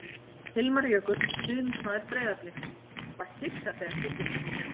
Hilmar Jökull, stuðningsmaður Breiðabliks: Var hissa þegar Kiddi kom í sumar.